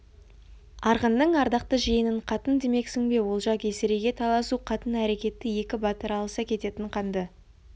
арғынның ардақты жиенін қатын демексің бе олжа есірейге таласу қатын әрекеті екі батыр алыса кететін қанды